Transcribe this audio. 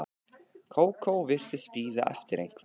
Kókó og virtist bíða eftir einhverjum.